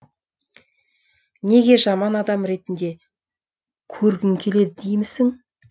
неге жаман адам ретінде көргің келеді деймісің